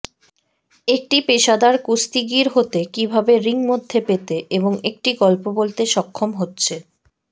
একটি পেশাদার কুস্তিগীর হতে কিভাবে রিং মধ্যে পেতে এবং একটি গল্প বলতে সক্ষম হচ্ছে